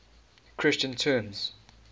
christian terms